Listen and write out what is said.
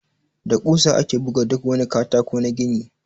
Da ƙusa ake buga duk wani katako na gini.